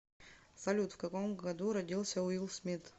салют в каком году родился уилл смит